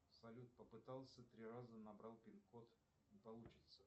салют попытался три раза набрал пин код не получится